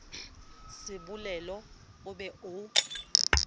se bolele o be o